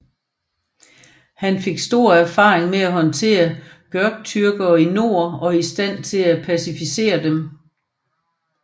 Han fik stor erfaring ved at håndtere Göktürkere i nord og var i stand til at pacificere dem